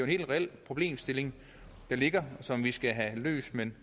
helt reel problemstilling der ligger og som vi skal have løst men